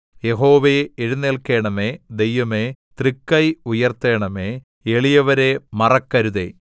യഹോവേ എഴുന്നേല്ക്കണമേ ദൈവമേ തൃക്കൈ ഉയർത്തണമേ എളിയവരെ മറക്കരുതേ